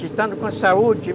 estando com saúde,